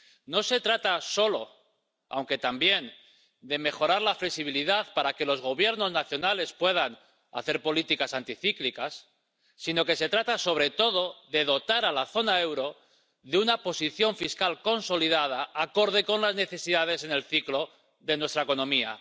No se trata solo —aunque también— de mejorar la flexibilidad para que los Gobiernos nacionales puedan hacer políticas anticíclicas, sino que se trata, sobre todo, de dotar a la zona euro de una posición fiscal consolidada acorde con las necesidades en el ciclo de nuestra economía.